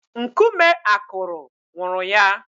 Nkume akụrụ nwụrụ ya.